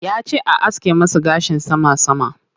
Yace a aske masa gashin sama sama.